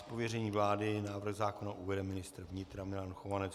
Z pověření vlády návrh zákona uvede ministr vnitra Milan Chovanec.